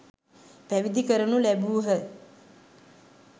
පැවිදි කරනු ලැබූහ.